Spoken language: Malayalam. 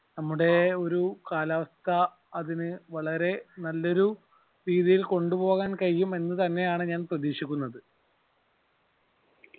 നമ്മുടെ ഒരു കാലാവസ്ഥ അതിനു വളരെ നല്ലൊരു രീതിയിൽ കൊണ്ടുപോകാൻ കഴിയുമെന്ന് തന്നെ ആണ് ഞാൻ പ്രതീക്ഷിക്കുന്നത്